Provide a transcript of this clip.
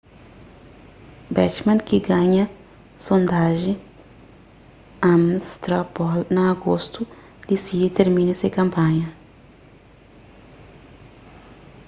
bachmann ki ganha sondajen ames straw poll na agostu disidi tirmina se kanpanha